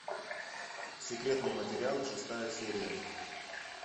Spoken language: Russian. секретные материалы шестая серия